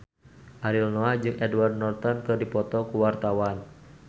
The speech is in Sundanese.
Ariel Noah jeung Edward Norton keur dipoto ku wartawan